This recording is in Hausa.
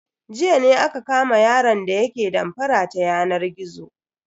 Jiya ne aka kama yaron da yake damfara ta yanar gizo.